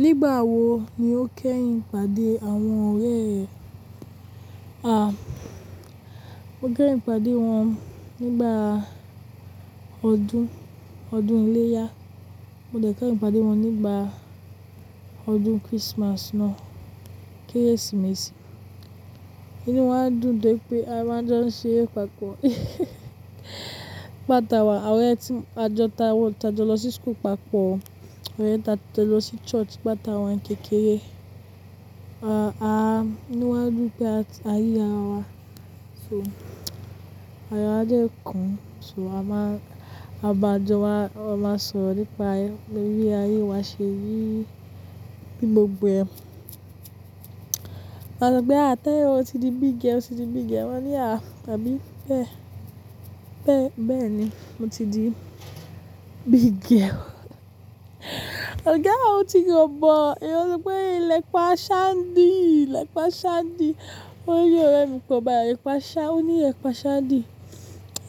Nígbà wo ni o kẹ́yìn ìpàdé àwọn ọ̀rẹ́ ẹ? Mo kẹ́yìn pàdé wọn nígbà ọdún, ọdún iléyá. Mo dẹ̀ kẹ́yìn pàdé wọn nígbà ọdún Christmas náà, kérésìmesì. Inú wá dùn dé pé a máa ń jọ ń ṣe eré pàpọ́ nígbà táwa ọ̀rẹ́ tí, a jọ ta wọ́n, a jọ lọ sí school papọ̀, orẹ́ ta jọ lọ sí church gba tá wá ń kékeré. Inú wá dùn pé a ríra wa, so ayọ̀ wa dè kún, so a máa, a máa jọ wá, a máa sọ̀rọ̀ nípa ayé, bí ayé wa ṣé rí, bí gbogbo ẹ̀. Wọn sọ pé àtẹ́ ẹ o ti di big girl, o ti di big girl. Moni ní a àbí bẹ́, bẹ́ẹ̀ni mo ti di big girl. Ooga á o ti rọ̀bọ. Èyan wọ́n ó sọ pé ìlẹ̀ pa a ṣa n dí, le paa ṣa n dí. Ó ní ọ̀rẹ́ mi kan bayi lepaa ṣa, ó ní ìlepaa ṣa n dí.